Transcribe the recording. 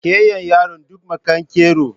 Kayan yaron duk makero